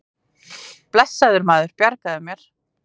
Blessaður, maður, ég bjarga mér.